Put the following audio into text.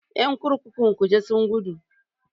Ƴan kurkukun kuje sun gudu.